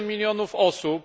7 milionów osób.